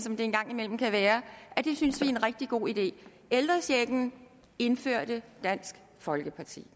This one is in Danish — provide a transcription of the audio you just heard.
en gang imellem kan være at vi synes det er en rigtig god idé ældrechecken indførte dansk folkeparti